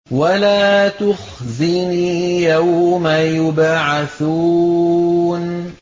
وَلَا تُخْزِنِي يَوْمَ يُبْعَثُونَ